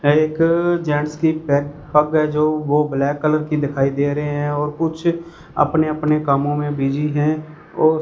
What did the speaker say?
एक जेंट्स की पेग पग है जो वो ब्लैक कलर की दिखाई दे रहे हैं और कुछ अपने अपने कामों में बिजी हैं और--